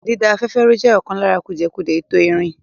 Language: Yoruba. Dída afẹ́fẹ́ rú jẹ́ ọ̀kan lára kùdìẹ̀kudiẹ ètò ìrìn.